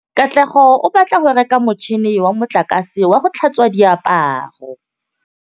Katlego o batla go reka motšhine wa motlakase wa go tlhatswa diaparo.